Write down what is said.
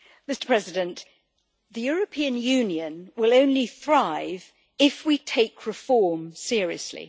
Mr President, the European Union will only thrive if we take reform seriously.